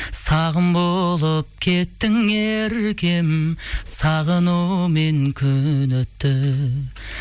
сағым болып кеттің еркем сағынумен күні түн